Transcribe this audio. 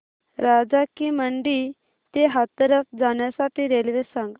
राजा की मंडी ते हाथरस जाण्यासाठी रेल्वे सांग